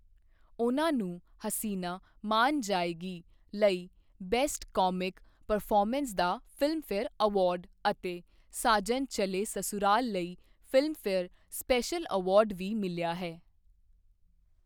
ਉਨ੍ਹਾਂ ਨੂੰ 'ਹਸੀਨਾ ਮਾਨ ਜਾਏਗੀ' ਲਈ ਬੈਸਟ ਕਾਮਿਕ ਪਰਫਾਰਮੈਂਸ ਦਾ ਫਿਲਮਫੇਅਰ ਅਵਾਰਡ ਅਤੇ 'ਸਾਜਨ ਚਲੇ ਸਸੁਰਾਲ' ਲਈ ਫਿਲਮਫੇਅਰ ਸਪੈਸ਼ਲ ਅਵਾਰਡ ਵੀ ਮਿਲਿਆ ਹੈ।